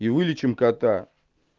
и вылечим кота